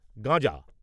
গাঁজা